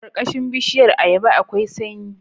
Karkashin bishiyar ayaba akwai sanyi